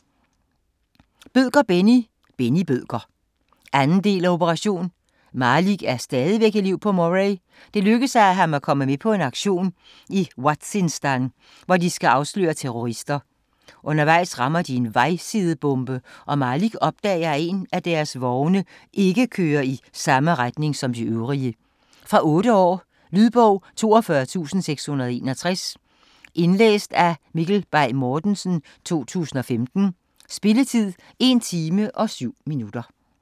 Bødker, Benni: Benni Bødker 2. del af Operation. Malik er stadigvæk elev på Moray. Det lykkes ham at komme med på en aktion i Waziristan, hvor de skal afsløre terrorister. Undervejs rammer de en vejside-bombe og Malik opdager, at en af deres vogne ikke kører i samme retning som de øvrige. Fra 8 år. Lydbog 42661 Indlæst af Mikkel Bay Mortensen, 2015. Spilletid: 1 time, 7 minutter.